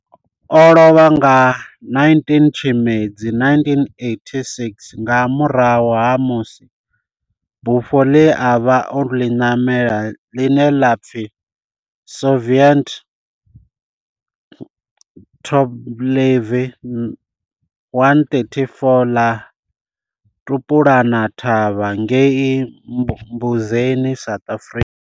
O lovha nga 19 Tshimedzi 1986 nga murahu ha musi bufho ḽe a vha o ḽi namela, ḽine ḽa pfi Soviet Tupolev 134 ḽa thulana thavha ngei Mbuzini, South Africa.